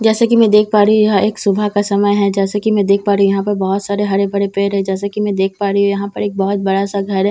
जैसे कि मैं देख पा रही हूं यह एक सुबह का समय है जैसे की मैं देख पा रही हूं यहां पर बहुत सारे हरे भरे पेड़ है जैसे कि मैं देख कर यहां पर एक बहुत बड़ा सा घर है जैसे की--